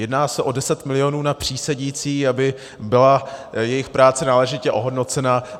Jedná se o 10 mil. na přísedící, aby byla jejich práce náležitě ohodnocena.